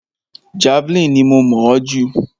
Javeline ni mo mọ̀ ọ́ jù.